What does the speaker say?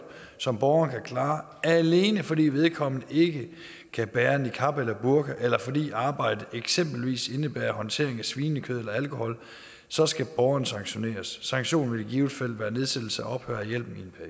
som borgeren kan klare alene fordi vedkommende ikke kan bære niqab eller burka eller fordi arbejdet eksempelvis indebærer håndtering af svinekød eller alkohol så skal borgeren sanktioneres sanktionen vil i givet fald være nedsættelse eller ophør af hjælpen